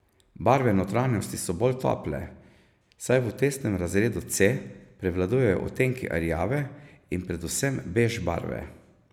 Barve notranjosti so bolj tople, saj v testnem razredu C prevladujejo odtenki rjave in predvsem bež barve.